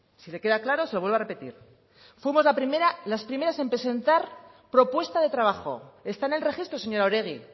si le queda claro se lo vuelvo a repetir fuimos las primeras en presentar propuesta de trabajo está en el registro señora oregi